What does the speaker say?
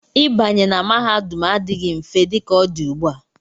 Ịbanye na mahadum adịghị mfe dị ka ọ dị ugbu a.